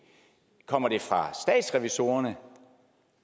kommer det fra statsrevisorerne